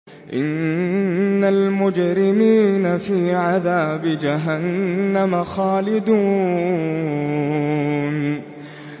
إِنَّ الْمُجْرِمِينَ فِي عَذَابِ جَهَنَّمَ خَالِدُونَ